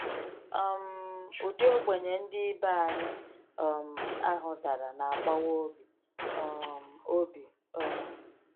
um Ụdị ogbenye ndị ibe anyị um ahụ dara na agbawa obi um obi um.